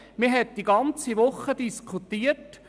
Man diskutierte eine ganze Woche lang.